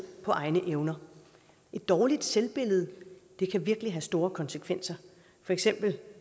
på egne evner et dårligt selvbillede kan virkelig have store konsekvenser